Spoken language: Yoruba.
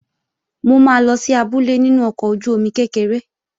Mo máa lọ sí abúlé nínú ọkọ̀ ojú-omi kékeré